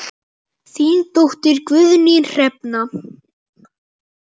Þín dóttir, Guðný Hrefna.